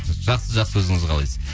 жақсы жақсы өзіңіз қалайсыз